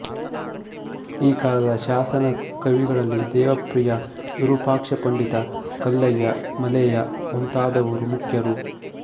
ಈ ಕಾಲದ ಶಾಸನ ಕವಿಗಳಲ್ಲಿ ದೇವಪ್ರಿಯ ವಿರೂಪಾಕ್ಷಪಂಡಿತ ಕಲ್ಲಯ್ಯ ಮಲೆಯ ಮುಂತಾದವರು ಮುಖ್ಯರು